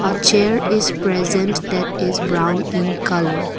chair is present that is brown in colour.